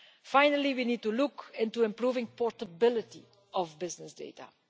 Finally, we need to look into improving the portability of business data.